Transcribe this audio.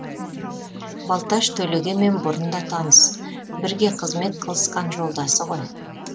балташ төлегенмен бұрын да таныс бірге қызмет қылысқан жолдасы ғой